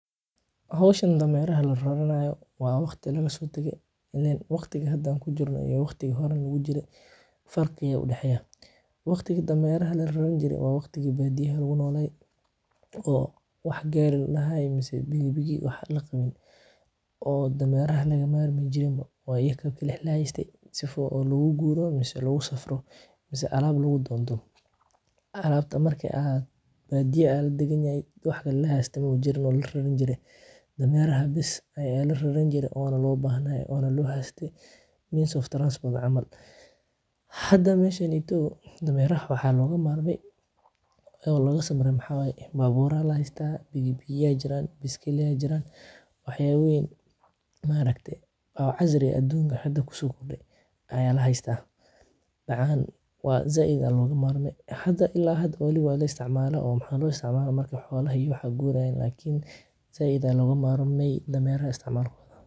Hawshin dameraha la raraaayo. Waa waqti lagu soo tagay inaan waqtigii haddan ku jirno iyo waqtigii horran wuu jirey, farkiyo u dhexeeya. Waqtiga daameya rahay la run jiray waa waqtigii badiyaa ah wuxuu noolay oo wax gaari ah lahaa, ayaa maanta bigi bigiyo laqab ahan oo daameya raxo lagama armo jiro. Waa ikakale xilaayistey sifoo loogu guuro mis lagu safrado alaab lagu doonto alaabta. Markay aad badiyaa aad deganyahay, wax ka laheystay muujin waa la run jiray daameya rahay bisho ayay la run jirin oo na loo baahnay oona la haastay means of transport camal. Hadda meeshaan iyo tooda daameya raxo waxaa laga maarmay oo laga samaray maxaaya baabuuraha la heystaa. Bigi bigiyaa jiraan, biskiliyaa jiraan, waxyeeween maragte, baa cazri aduunka xadda kusoo kordhay ayaa la haystaa. Gacaan waa za'idaad laga maarmay hadda ilaa hadda hooli waa la isticmaalo oo maxaad loo isticmaalo marka xoolaha iyo waxaad guurayn. Laakiin si ida laga maarmay daameyra isticmaal kuwo.